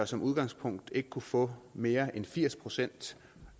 som udgangspunkt ikke bør kunne få mere end firs procent